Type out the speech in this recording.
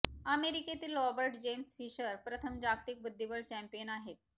अमेरिकेतील Robert James Fischer प्रथम जागतिक बुद्धिबळ चॅम्पियन आहेत